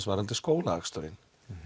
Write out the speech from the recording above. varðandi skólaaksturinn